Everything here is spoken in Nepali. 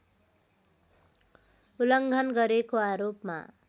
उल्लङ्घन गरेको आरोपमा